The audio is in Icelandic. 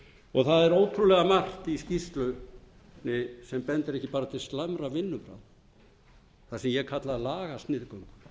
það er ótrúlega margt í skýrslunni sem bendir ekki bara til slæmra vinnubragða það sem ég kalla lagasniðgöngu